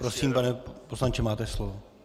Prosím, pane poslanče, máte slovo.